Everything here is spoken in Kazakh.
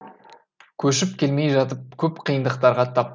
көшіп келмей жатып көп қиындықтарға тап